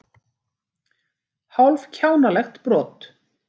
Hálf kjánalegt brot.